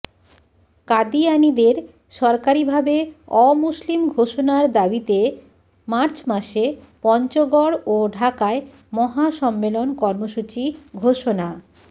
কাদিয়ানীদের সরকারিভাবে অমুসলিম ঘোষণার দাবিতে মার্চ মাসে পঞ্চগড় ও ঢাকায় মহাসম্মেলন কর্মসূচি ঘোষণা